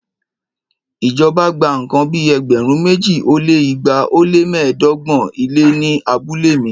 Ìjọba gba nǹkan bí ẹgbẹ̀rún méjì ó lé igba ó lé mẹ́ẹ̀ẹ́dọ́gbọ̀n ilẹ̀ ní abúlé mi